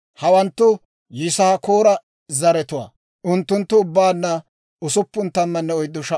Hawanttu Yisaakoora zaratuwaa; unttunttu ubbaanna 64,300.